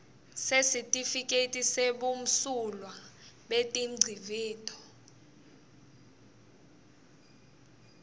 sesitifiketi sebumsulwa betingcivito